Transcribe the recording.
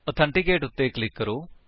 authenticate ਉੱਤੇ click ਕਰੋ